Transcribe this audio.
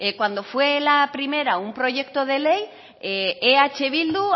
cuando fue la primera un proyecto de ley eh bildu